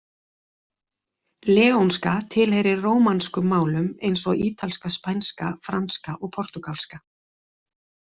Leónska tilheyrir rómanskum málum, eins og ítalska, spænska, franska og portúgalska.